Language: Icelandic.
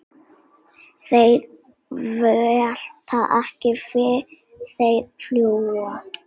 Þeir velta ekki, þeir fljúga.